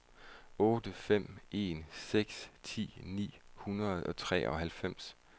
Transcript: otte fem en seks ti ni hundrede og treoghalvfems